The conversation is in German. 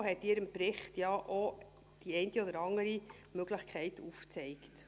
Die FiKo hat in ihrem Bericht ja auch die eine oder andere Möglichkeit aufgezeigt.